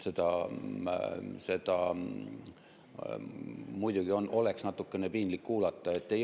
Seda oleks muidugi natukene piinlik kuulata.